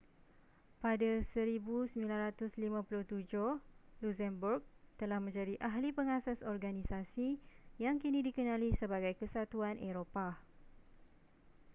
pada 1957 luxembourg telah menjadi ahli pengasas organisasi yang kini dikenali sebagai kesatuan eropah